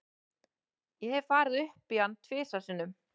Ég hef farið upp í hann tvisvar sinnum.